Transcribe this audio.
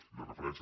i la referència